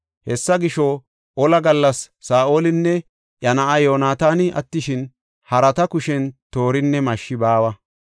Hessa gisho, ola gallas Saa7olinne iya na7aa Yoonataani attishin, harata kushen toorinne mashshi baawa.